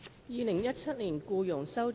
《2017年僱傭條例草案》。